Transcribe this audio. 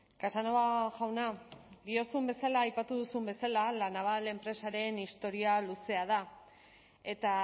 casanova jauna diozun bezala aipatu duzun bezala la naval enpresaren historia luzea da eta